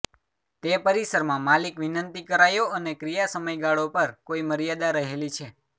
તે પરિસરમાં માલિક વિનંતી કરાયો અને ક્રિયા સમયગાળો પર કોઈ મર્યાદા રહેલી છે